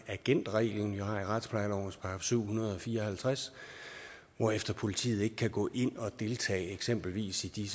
agentreglen vi har i retsplejelovens § syv hundrede og fire og halvtreds hvorefter politiet ikke kan gå ind og deltage i eksempelvis de